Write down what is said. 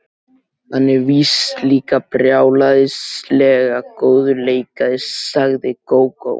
Hann er víst líka brjálæðislega góður leikari, sagði Gógó.